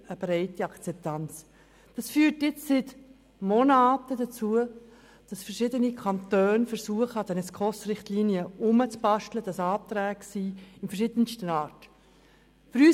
Dies führt dazu, dass verschiedene Kantone seit Monaten versuchen, an den SKOS-Richtlinien herumzubasteln und es Anträge verschiedenster Art gibt.